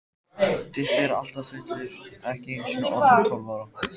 Diddi er alltaf fullur, ekki einusinni orðinn tólf ára.